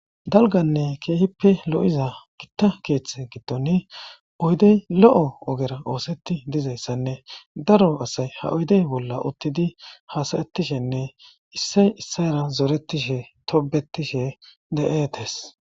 dalganne keehippe lo7iza gitta keeththe gittoni oydey lo7o ogera oosetti dizayssanne daro asay ha oydey bolla uttidi hasayettishenne issay issayra zoretishe tobetishe de7etees